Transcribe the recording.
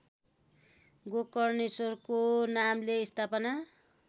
गोकर्णेश्वरको नामले स्थापना